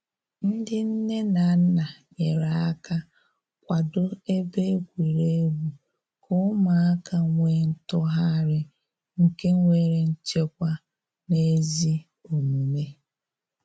Ndị nne na nna nyere aka kwado ebe egwuregwu ka ụmụaka nwee ntụgharị nke nwere nchekwa na ezi omume